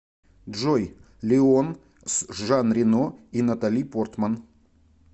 джой леон с жан рено и натали портман